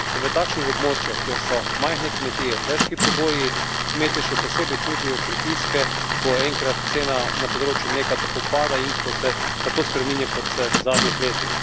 In na takšnih območjih, kjer so majhne kmetije, težki pogoji, kmetje še posebej čutijo pritiske, ko enkrat cena na področju mleka tako pada in ko se tako spreminja, kot se v zadnjih letih.